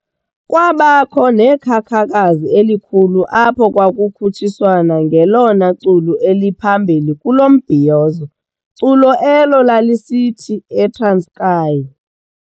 Kwabakho nekhakhakazi elikhulu apho kwakukhutshiswana ngelona culo elaliphambili kulo mbhizoyozo, culo elo lalisithi "ETranskei